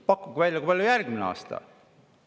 Pakkuge välja, kui palju järgmisel aastal tõuseb.